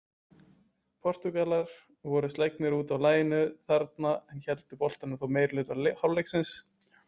Portúgalar voru slegnir útaf laginu þarna en héldu boltanum þó meirihluta hálfleiksins.